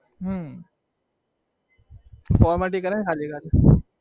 હમ કરે ખાલી